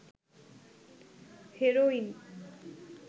heroin